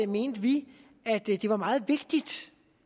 mente vi at det var meget vigtigt